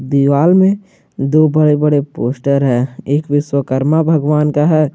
दीवार में दो बड़े बड़े पोस्टर हैं एक विश्वकर्मा भगवान का है।